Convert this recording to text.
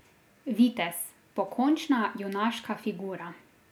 Vitez, pokončna, junaška figura.